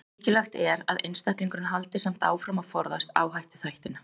Mikilvægt er að einstaklingurinn haldi samt áfram að forðast áhættuþættina.